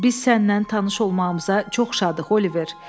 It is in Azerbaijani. Biz sənlə tanış olmağımıza çox şadıq, Oliver.